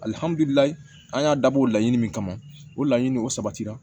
Alihamudulila an y'a dabɔ o la ɲini min kama o la ɲini o sabatira